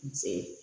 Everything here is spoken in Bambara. N sɛgɛn